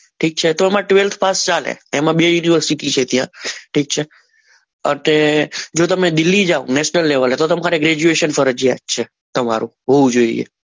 ઠીક છે તો આમાં ત્વેલ્થ પાસ ચાલે એમાં બે યુનિવર્સિટી છે ઠીક છે અને જો તમે દિલ્હી જાવ નેશનલ લેવલે તો તમારે ગ્રેજ્યુએશન ફરજિયાત છે. તમારું હોવું જોઈએ